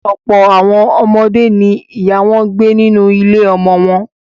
Ọ̀pọ̀ àwọn ọmọdé ni ìyá wọn gbé nínú ilé-ọmọ wọn.